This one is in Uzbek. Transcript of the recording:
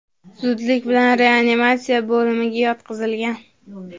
zudlik bilan reanimatsiya bo‘limiga yotqizilgan.